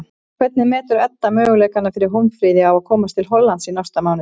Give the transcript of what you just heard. Hvernig metur Edda möguleika fyrir Hólmfríði á að komast til Hollands í næsta mánuði?